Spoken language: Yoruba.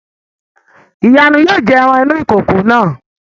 ìyànú yóò jẹ ẹran inú ìkòkò náà